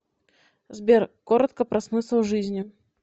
сбер коротко про смысл жизни